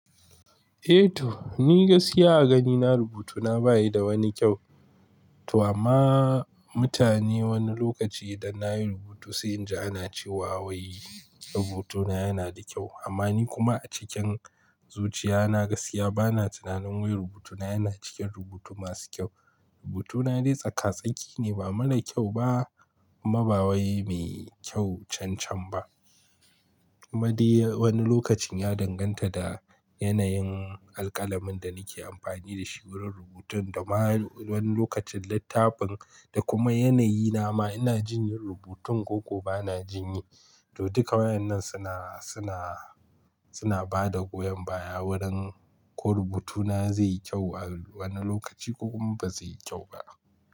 Eh to, ni gaskiya a ganina rubutuna bayi da wani kyau. To amma, mutane wani lokaci idan na yi rubutu sai in ji ana cewa wai rubutuna yana da kyau, amma ni kuma a cikin zuciya na gaskiya bana tunanin wai rubutuna yana cikin rubutu masu kyau. Rubutuna dai tsaka-tsaki ne ba mara kyau ba, kuma ba wai mai kyau cancan ba. Kuma dai wani lokacin ya danganta da yanayin alƙalamin da nake amfani da shi wurin rubutun, da ma wani lokacin littafin, da kuma yanayi nama ina jin yin rubutun ko ko bana jinyi. To duka waƴannan suna, suna, suna bada goyon baya wurin ko rubutuna zai yi kyau a wani lokaci ko kuma ba zai yi kyau ba.